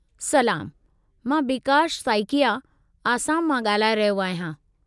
सलामु! मां बीकाश साइकिया, आसाम मां ॻाल्हाए रहियो आहियां।